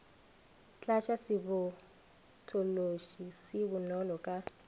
tlatša sebotšološi se bonolo ka